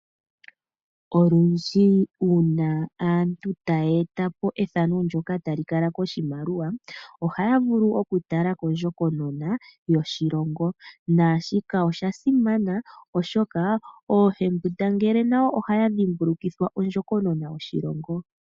Olundji uuna aantu taya eta po ethano ndyoka tali kala koshimaliwa ohaya vulu okutala kondjokonona yoshilongo naashika osha simana oshoka oohembundangele nayo ohaya dhimbulukithwa ondjokonona yoshilongo.